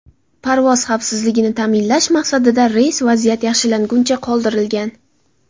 Parvoz xavfsizligini ta’minlash maqsadida reys vaziyat yaxshilanguncha qoldirilgan.